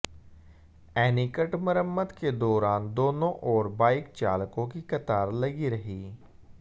एनीकट मरम्मत के दौरान दोनों ओर बाइक चालकों की कतार लगी रही